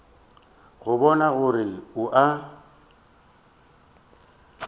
go bona gore o a